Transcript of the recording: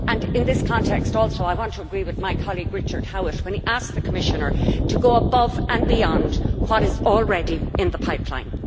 In this context also I want to agree with my colleague Richard Howitt when he asks the Commissioner to go above and beyond what is already in the pipeline.